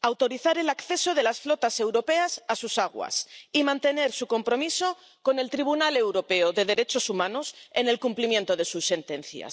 autorizar el acceso de las flotas europeas a sus aguas y mantener su compromiso con el Tribunal Europeo de Derechos Humanos en cuanto al cumplimiento de sus sentencias.